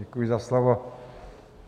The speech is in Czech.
Děkuji za slovo.